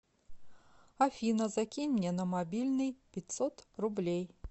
афина закинь мне на мобильный пятьсот рублей